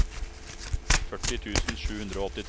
førti tusen sju hundre og åttitre